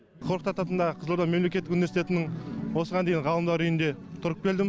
қорқыт ата атындағы қызылорда мемлекеттік университетінің осыған дейін ғалымдар үйінде тұрып келдім